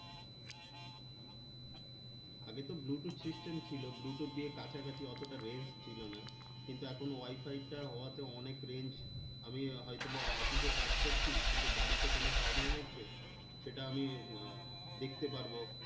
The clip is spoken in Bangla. আগেতো bluetooth system ছিল bluetooth দিয়ে কাছাকাছি অতটা range ছিলোনা কিন্তু এখন wi-fi টা হওয়াতে অনেক range আমি হয়তোবা office এ কাজ করছি কিন্তু বাড়িতে কোনো problem হচ্ছে সেটা আমি দেখতে পারবো